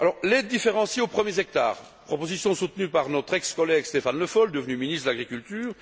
L'aide différenciée aux premiers hectares est une proposition soutenue par notre ex collègue Stéphane Le Foll, devenu ministre de l'agriculture